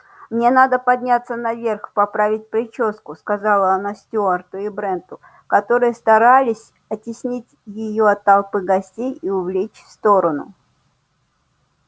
мне надо подняться наверх поправить причёску сказала она стюарту и бренту которые старались оттеснить её от толпы гостей и увлечь в сторону